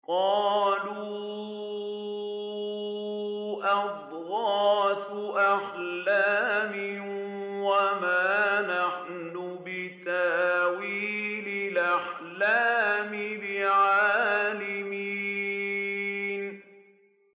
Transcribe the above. قَالُوا أَضْغَاثُ أَحْلَامٍ ۖ وَمَا نَحْنُ بِتَأْوِيلِ الْأَحْلَامِ بِعَالِمِينَ